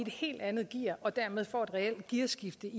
helt andet gear og dermed får et reelt gearskifte